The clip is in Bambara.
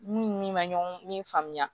N'u ni min ma ɲɔgɔn min faamu